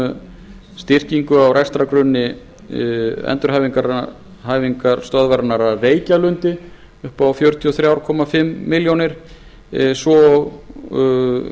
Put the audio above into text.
um styrkingu á rekstrargrunni endurhæfingarstöðvarinnar að reykjalundi upp á fjörutíu og þrjú og hálfa milljón króna svo og